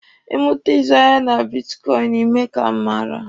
Ị mụta ịzụ ahịa na bitkọịnị, Ị mee ka m mara.